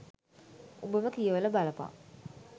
උඹම කියවල බලපන්